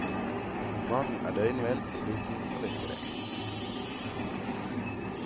Mannen er døgnvill, sliten og lykkelig.